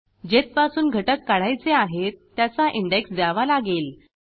जेथपासून घटक काढायचे आहेत त्याचा इंडेक्स द्यावा लागेल